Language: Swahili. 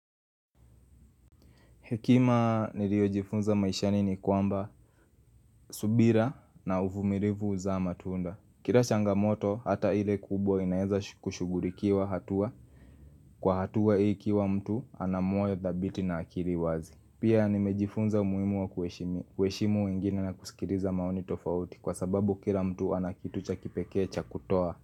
Hekima niliojifunza maisha nini kwamba subira na uvumirivu huzaa matunda. Kira changamoto hata ile kubwa inaeza kushugurikiwa hatua. Kwa hatua hii ikiwa mtu ana moyo thabiti na akiri wazi. Pia nimejifunza umuimu wa kueshimu wengine na kusikiriza maoni tofauti kwa sababu kira mtu anakitucha kipekee cha kutoa.